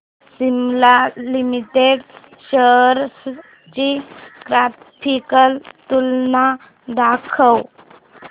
Cipla limited shares ची graphical तुलना दाखव